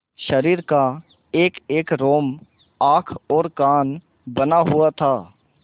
शरीर का एकएक रोम आँख और कान बना हुआ था